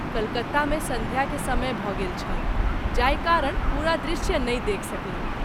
कलकत्ता मे संध्या के समय भ’ गेल छल जाहि कारण पूरा दृश्य नहि देखि सकलहुँ।